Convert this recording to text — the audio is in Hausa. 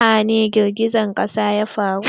A wani jiha ne girgijen ƙasa ya faru?